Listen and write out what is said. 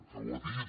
que ho ha dit